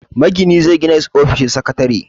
Magini zai gina ofishin sakatare.